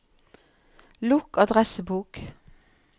lukk adressebok